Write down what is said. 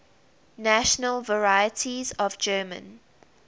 national varieties of german